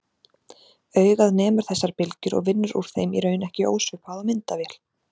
Augað nemur þessar bylgjur og vinnur úr þeim í raun ekki ósvipað og myndavél.